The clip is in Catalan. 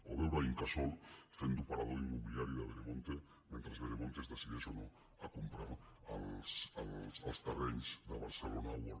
o veure incasòl fent d’operador immobiliari de vere·monte mentre veremonte es decideix o no a comprar els terrenys de barcelona world